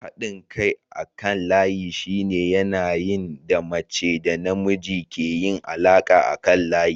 Haɗin kai akan layi shine yanayin da mace da namiji ke yin alaƙa akan layi.